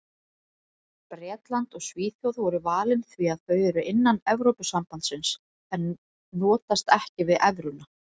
Bretland og Svíþjóð voru valin því þau eru innan Evrópusambandsins en notast ekki við evruna.